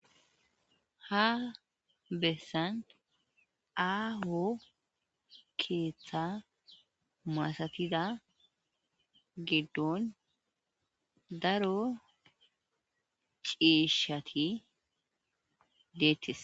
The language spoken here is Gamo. ha bessan aaho keeththa maasatida giddon daro ciishati deettis